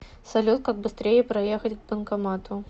салют как быстрее проехать к банкомату